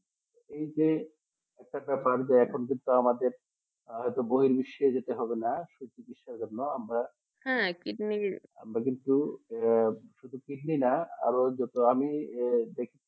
এই যে উপর টাকা বাড়বে আমার কিন্তু আমাদের আর বইয়ের বিশ্বে যেতে হবে না কিডনির জন্য হ্যাঁ কিডনির শুধু কিডনি না আরো যত আমি